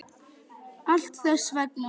Allt þess vegna.